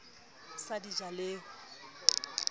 sa di ja le ho